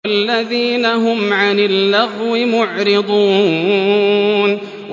وَالَّذِينَ هُمْ عَنِ اللَّغْوِ مُعْرِضُونَ